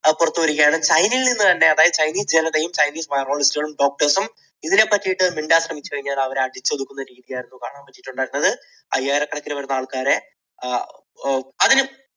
പുറത്തുവരികയാണ്. ചൈനയിൽ നിന്നു തന്നെ അതായത് ചൈനീസ് ജനതയും ചൈനീസ് virologist കളും doctors സും ഇതിനെപ്പറ്റി മിണ്ടാൻ ശ്രമിച്ചു കഴിഞ്ഞാൽ അവരെ അടിച്ചൊതുക്കുന്ന രീതിയായിരുന്നു കാണാൻ പറ്റിയത്. അയ്യായിരക്കണക്കിന് വരുന്ന ആൾക്കാരെ അഹ്